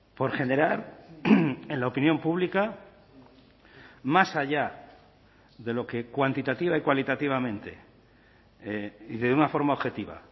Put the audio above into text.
por generar en la opinión pública más allá de lo que cuantitativa y cualitativamente y de una forma objetiva